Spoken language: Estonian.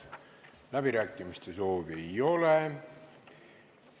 Läbirääkimiste soovi ei ole.